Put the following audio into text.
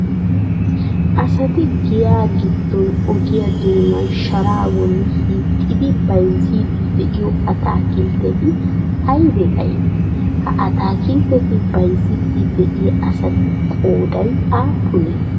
Asati giya giddon ogiya doonaan sharaa bolla hiixxidi bayzziidi de'iyo ataakkiltteti aybee aybee? Ha ataakkiltteta bayzziidi de'iya asatu qooday aappunee?